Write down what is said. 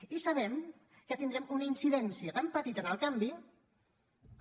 i sabem que tindrem una incidència tan petita en el canvi que